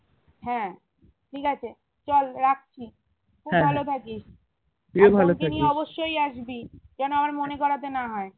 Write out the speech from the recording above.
হ্যাঁ ঠিক আছে চল রাখছি থাকিস অবশ্যই আসবি যেন আবার মনে করতে না হয়